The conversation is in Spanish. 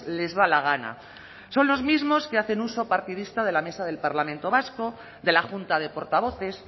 les da la gana son los mismos que hacen uso partidista de la mesa del parlamento vasco de la junta de portavoces